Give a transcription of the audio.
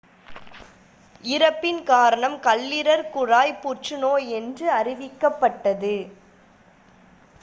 இறப்பின் காரணம் கல்லீரல் குழாய் புற்றுநோய் என்று அறிவிக்கப்பட்டது